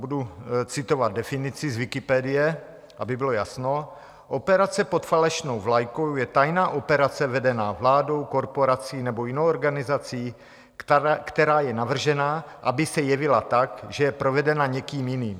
Budu citovat definici z Wikipedie, aby bylo jasno: "Operace pod falešnou vlajkou je tajná operace vedená vládou, korporací nebo jinou organizací, která je navržena, aby se jevila tak, že je provedena někým jiným.